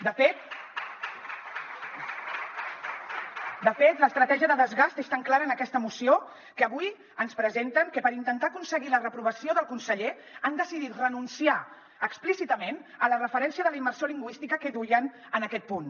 de fet l’estratègia de desgast és tan clara en aquesta moció que avui ens presenten que per intentar aconseguir la reprovació del conseller han decidit renunciar explícitament a la referència de la immersió lingüística que duien en aquest punt